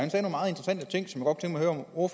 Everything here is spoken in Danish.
og